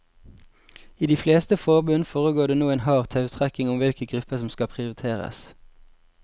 I de fleste forbund foregår det nå en hard tautrekking om hvilke grupper som skal prioriteres.